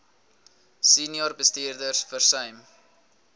senior bestuurders versuim